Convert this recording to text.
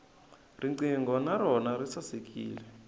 riqingho na rona ri sasekile